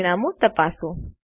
પરિણામો તપાસો